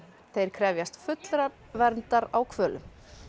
þeir krefjast fullrar verndar á hvölum